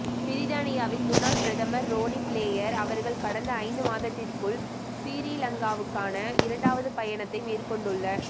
பிரித்தானியாவின் முன்னாள் பிரதமர் ரோனி பிளேயர் அவர்கள் கடந்த ஐந்து மாதத்திற்குள் சிறீலங்காவுக்கான இரண்டாவது பயணத்தை மேற்கொண்டுள்ள